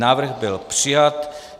Návrh byl přijat.